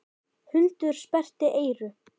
Hundur sperrti eyru.